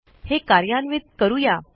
हे कार्यान्वित करू या